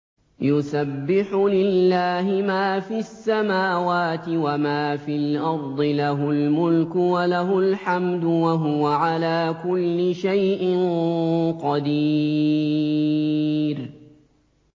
يُسَبِّحُ لِلَّهِ مَا فِي السَّمَاوَاتِ وَمَا فِي الْأَرْضِ ۖ لَهُ الْمُلْكُ وَلَهُ الْحَمْدُ ۖ وَهُوَ عَلَىٰ كُلِّ شَيْءٍ قَدِيرٌ